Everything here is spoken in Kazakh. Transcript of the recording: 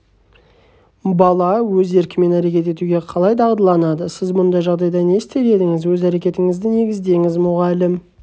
бала өз еркімен әрекет етуге қалай дағдыланады сіз бұндай жағдайда не істер едіңіз өз әрекетіңізді негіздеңіз мұғалім